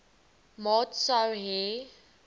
maat sou hê